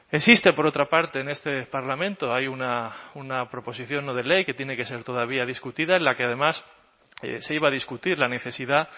existe por otra parte en este parlamento hay una proposición no de ley que tiene que ser todavía discutida en la que además se iba a discutir la necesidad